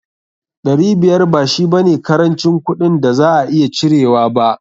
Dari biyar ba shi ba ne karancin kuɗin da za a iya cirewa ba.